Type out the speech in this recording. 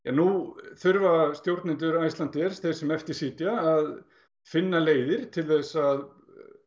nú þurfa stjórnendur Icelandair þeir sem eftir sitja að finna leiðir til að